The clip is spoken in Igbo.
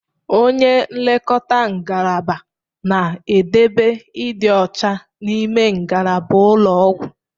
Onye nlekọta ngalaba na-edobe ịdị ọcha n'ime ngalaba ụlọ ọgwụ.